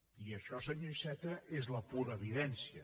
i això senyor iceta és la pura evidència